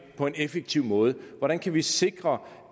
på en effektiv måde hvordan kan vi sikre